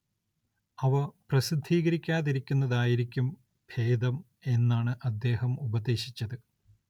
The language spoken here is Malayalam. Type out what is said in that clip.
അവ പ്രസിദ്ധീകരിക്കാതിരിക്കുന്നതായിരിക്കും ഭേദം എന്നാണ് അദ്ദേഹം ഉപദേശിച്ചത്.